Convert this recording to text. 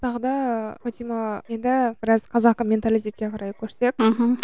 тағы да фатима енді біраз қазақы менталитетке қарай көшсек мхм